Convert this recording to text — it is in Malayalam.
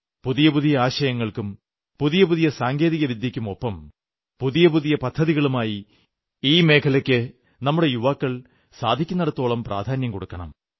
പുതിയ പുതിയ ആശയങ്ങൾക്കും പുതിയ പുതിയ സാങ്കേതികവിദ്യക്കുമൊപ്പം പുതിയ പുതിയ പദ്ധതികളുമായി ഈ മേഖലയ്ക്ക് നമ്മുടെ യുവാക്കൾ സാധിക്കുവോളം പ്രാധാന്യം കൊടുക്കണം